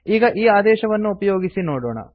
ಈಗ ಈ ಆದೇಶವನ್ನು ಉಪಯೋಗಿಸಿ ನೋಡೋಣ